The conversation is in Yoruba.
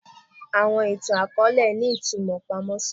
Awọn itan-akọọlẹ ni itumọ pamọ si wọn